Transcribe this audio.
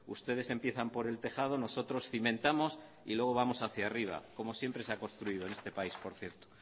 ustedes empiezan por el tejado nosotros cimentamos y luego vamos hacía arriba como siempre se ha construido en este país por cierto